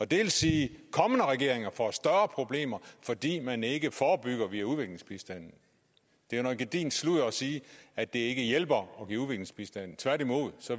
det vil sige at kommende regeringer får større problemer fordi man ikke forebygger via udviklingsbistanden det er noget gedigent sludder at sige at det ikke hjælper at give udviklingsbistand tværtimod